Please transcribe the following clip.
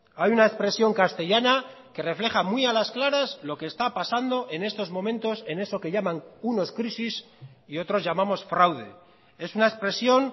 hay una expresión castellana que refleja muy a las claras lo que está pasando en estos momentos en eso que llaman unos crisis y otros llamamos fraude es una expresión